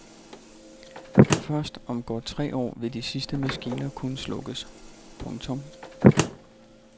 Først om godt tre år vil de sidste maskiner kunne slukkes. punktum